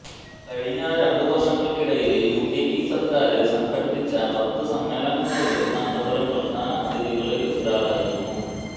കഴിഞ്ഞ രണ്ട് വര്ഷങ്ങള്ക്കിടയില് യു എ ഇ സര്ക്കാര് സംഘടിപ്പിച്ച പത്ത് സമ്മേളങ്ങളില് കാന്തപുരം പ്രധാന അതിഥികളില് ഒരാളായിരുന്നു